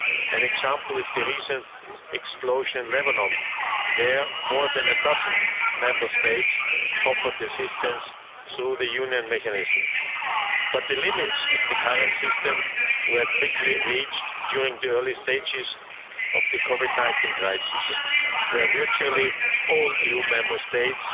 An example is the recent explosion in Lebanon, where more than a dozen Member States offered assistance through the Union Mechanism. But the limits of the current system were quickly reached during the early stages of the COVID-19 crisis, when virtually all EU Member States